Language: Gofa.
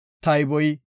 tayboy 2,630.